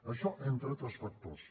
això entre altres factors